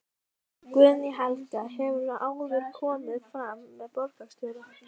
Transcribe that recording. Guðný Helga: Hefurðu áður komið fram með borgarstjóra?